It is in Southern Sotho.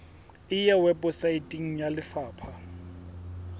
e ya weposaeteng ya lefapha